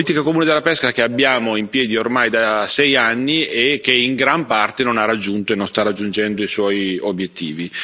Politica comune della pesca che abbiamo in piedi ormai da sei anni e che, in gran parte, non ha raggiunto e non sta raggiungendo i suoi obiettivi.